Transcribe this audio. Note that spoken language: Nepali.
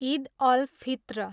इद अल फित्र